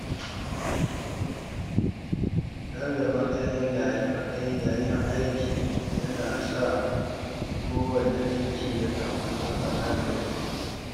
Rarraba matsayi yayin aiki ya na sa kowanne aiki ya kammalu a kan lokaci.